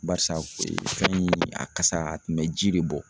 Barisa ee fɛn in a kasa a kun bɛ ji de bɔ